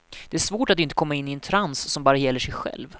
Det är svårt att inte komma in i en trans som bara gäller sig själv.